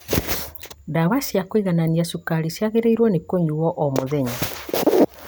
Ndawa cia kũiganania cukari ciagĩrĩirwo nĩ kũnyuo o mũthenya